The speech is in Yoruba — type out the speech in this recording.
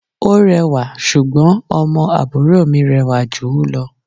Ó rẹwà, ṣùgbọ́n ọmọ àbúrò mi rẹwà jù ú lọ.